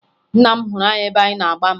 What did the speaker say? Nna m hụrụ anyị ebe anyị na-agba mgba